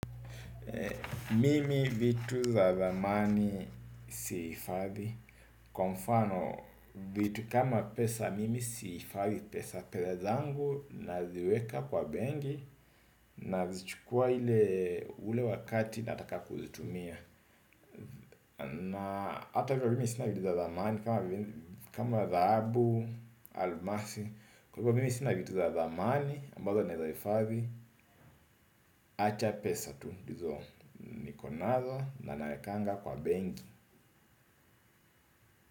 Mimi vitu za zamani siifadhi. Kwa mfano vitu kama pesa mimi sihifadhi pesa. Pesa zangu nazi weka kwa benki. Nazichukua hile ule wakati nataka kuzitumia. Na hata hivyo mimi sina vitu za thamani. Kama dhahabu, almasi. Kwa hivyo mimi sina vitu za thamani ambazo naeza hifadhi. Acha pesa tu lizo nikonazo na naekanga kwa benki.